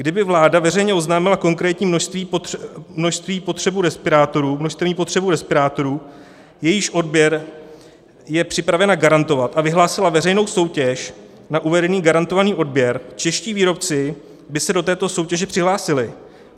Kdyby vláda veřejně oznámila konkrétní množstevní potřebu respirátorů, jejíž odběr je připravena garantovat, a vyhlásila veřejnou soutěž na uvedený garantovaný odběr, čeští výrobci by se do této soutěže přihlásili.